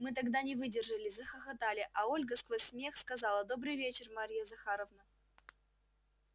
мы тогда не выдержали захохотали а ольга сквозь смех сказала добрый вечер марья захаровна